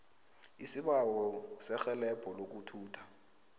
isibawo serhelebho lokuthutha